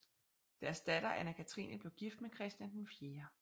Deres datter Anna Cathrine blev gift med Christian IV